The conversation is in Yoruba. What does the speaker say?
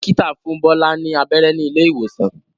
Dókítà fún Bola ní abẹ́rẹ́ ní ilé ìwòsàn.